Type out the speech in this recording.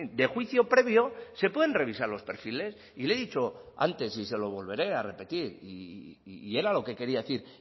de juicio previo se pueden revisar los perfiles y le he dicho antes y se lo volveré a repetir y era lo que quería decir